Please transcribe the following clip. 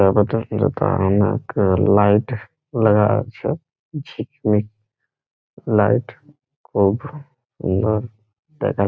অনেক লাইট লাগা আছে | ঝিকমিক লাইট খুব সুন্দর দেখা --